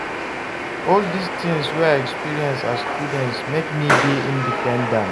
All dis tins wey I experience as student make me dey independent.